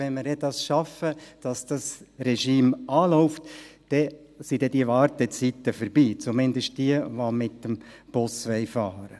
wenn wir es dann schaffen, dass das Regime anläuft, dann sind diese Wartezeiten vorbei, zumindest für diejenigen, die mit dem Bus fahren wollen.